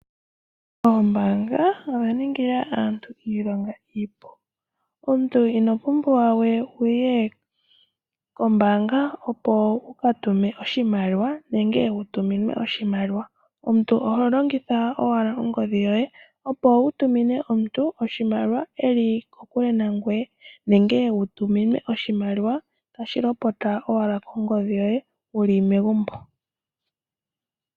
Ombaanga oya ningila aantu iilonga iipu. Omuntu inopumbwa wuye kombaanga opo wukatume oshimaliwa nenge wutuminwe oshimaliwa, omuntu oholongitha owala ongodhi opo wutumine omuntu oshimaliwa eli kokule nangoye nenge wutuminwe oshimaliwa tashi lopota owala kongodhi yoye wuli megumbo.